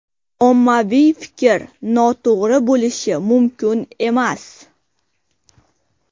Ommaviy fikr noto‘g‘ri bo‘lishi mumkin emas.